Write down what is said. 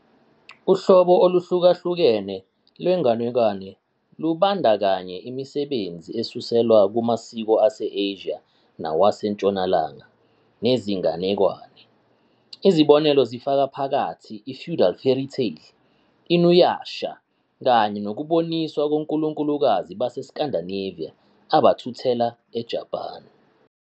Uhlobo oluhlukahlukene lwenganekwane lubandakanya imisebenzi esuselwa kumasiko ase-Asia nawaseNtshonalanga nezinganekwane, izibonelo zifaka phakathi i-feudal fairytale "InuYasha", kanye nokuboniswa konkulunkulukazi baseScandinavia abathuthela eJapan